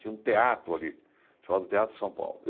Tinha um teatro ali, chamado Teatro São Paulo.